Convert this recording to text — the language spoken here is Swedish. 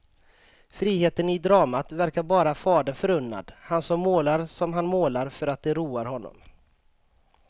Friheten i dramat verkar bara fadern förunnad, han som målar som han målar för att det roar honom.